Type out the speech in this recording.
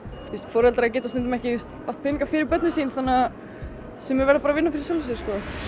veist foreldrar geta stundum ekki átt peninga fyrir börnin sín þannig að sumir verða bara að vinna fyrir sjálfu sér